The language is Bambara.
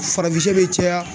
Farafin sɛ bɛ caya